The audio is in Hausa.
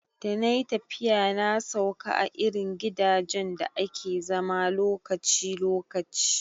Da nayi tafiya na sauka a irin gidajen da ake zama lokaci lokaci